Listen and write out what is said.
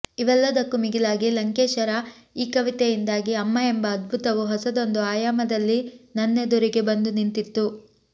ಇವೆಲ್ಲದಕ್ಕೂ ಮಿಗಿಲಾಗಿ ಲಂಕೇಶರ ಈ ಕವಿತೆಯಿಂದಾಗಿ ಅಮ್ಮ ಎಂಬ ಅದ್ಭುತವು ಹೊಸದೊಂದು ಆಯಾಮದಲ್ಲಿ ನನ್ನೆದುರಿಗೆ ಬಂದು ನಿಂತಿತ್ತು